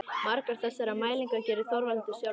Margar þessara mælinga gerði Þorvaldur sjálfur.